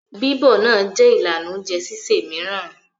Bí ọ́ náà jẹ́ ìlànà oúnjẹ sísè mìíràn.